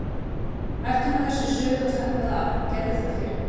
Hættu nú þessu suði og slappaðu af, gerðu það fyrir mig!